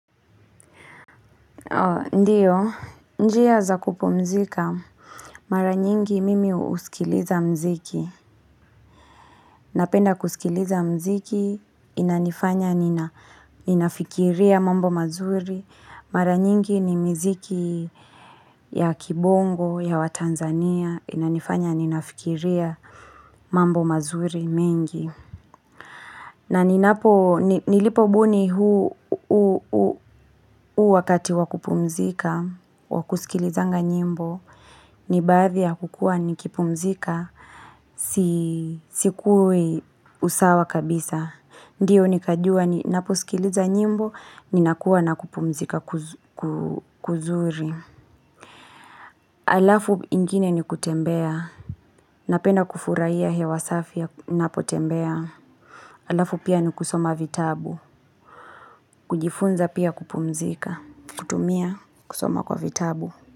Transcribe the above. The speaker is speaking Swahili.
Ndiyo, njia za kupumzika, mara nyingi mimi usikiliza mziki. Napenda kusikiliza mziki, inanifanya ninafikiria mambo mazuri. Mara nyingi ni miziki ya kibongo ya wa Tanzania, inanifanya ninafikiria mambo mazuri mengi. Na ni napo, nilipo buni huu wakati wakupumzika, wakusikilizanga nyimbo, ni baadhi ya kukua nikipumzika, sikuwi usawa kabisa. Ndiyo nikajua, ninaposikiliza nyimbo, ninakuwa nakupumzika kuzuri. Alafu ingine ni kutembea, napenda kufurahia hewa safi ya napo tembea. Alafu pia ni kusoma vitabu, kujifunza pia kupumzika, kutumia, kusoma kwa vitabu.